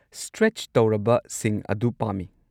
Stretch ꯇꯧꯔꯕꯁꯤꯡ ꯑꯗꯨ ꯄꯥꯝꯃꯤ꯫